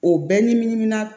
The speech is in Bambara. O bɛɛ ɲiminan